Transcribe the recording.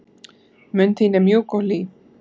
Mund þín er mjúk og hlý.